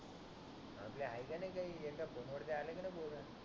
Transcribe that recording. आपल आहे की नाही काही एका फोन वरती आले की नाही पोर